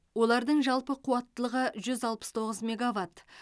олардың жалпы қуаттылығы жүз алпыс тоғыз мегаватт